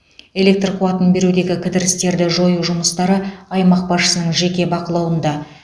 электр қуатын берудегі кідірістерді жою жұмыстары аймақ басшысының жеке бақылауында